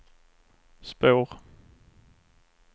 spår